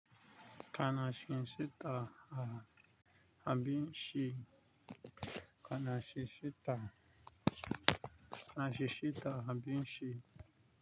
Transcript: Kana shinsita a abinci? Kana shinsita, kana shinsita abin shi?